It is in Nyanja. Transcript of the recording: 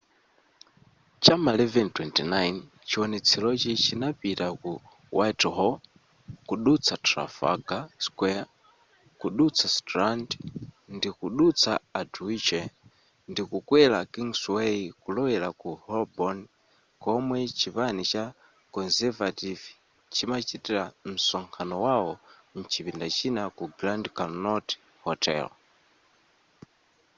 cha m'ma 11:29 chiwonetserochi chinapita ku whitehall kudutsa trafalgar square kudutsa strand ndikudutsa aldwych ndikukwera kingsway kulowera ku holborn komwe chipani cha conservative chimachita msonkhano wao mchipinda china ku grand connaught hotel